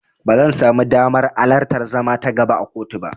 Ba zan samu damar alartar zama ta gaba a kotu ba.